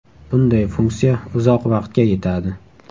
Bunday funksiya uzoq vaqtga yetadi.